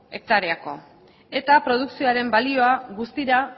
hektareako eta produkzioaren balioa guztira